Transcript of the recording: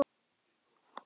Upp að vissu marki.